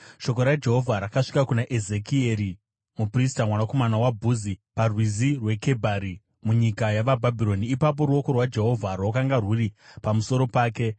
shoko raJehovha rakasvika kuna Ezekieri muprista, mwanakomana waBhuzi paRwizi rweKebhari munyika yavaBhabhironi. Ipapo, ruoko rwaJehovha rwakanga rwuri pamusoro pake.